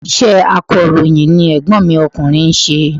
Iṣẹ́ akọ̀ròyìn ni ègbón mi okùnrin nse